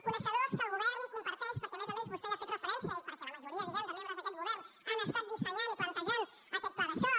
coneixedors que el govern comparteix perquè a més a més vostè hi ha fet referència i perquè la majoria de membres d’aquest govern han estat dissenyant i plantejant aquest pla de xoc